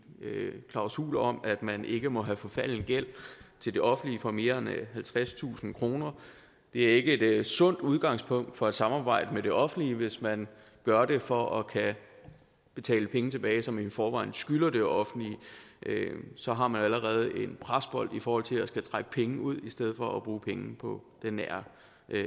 klausul om at man ikke må have forfalden gæld til det offentlige for mere halvtredstusind kroner det er ikke et sundt udgangspunkt for et samarbejde med det offentlige hvis man gør det for at kunne betale pengene tilbage som man i forvejen skylder det offentlige så har man jo allerede en presbold i forhold til at skulle trække penge ud i stedet for at bruge penge på den nære